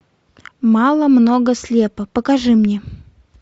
мало много слепо покажи мне